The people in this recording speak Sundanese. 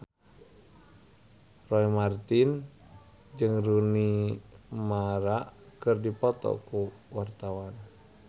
Roy Marten jeung Rooney Mara keur dipoto ku wartawan